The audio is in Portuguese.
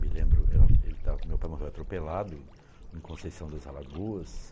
Me lembro, era ele, meu pai morreu atropelado em em Conceição das Alagoas.